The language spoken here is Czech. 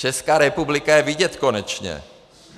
Česká republika je vidět konečně.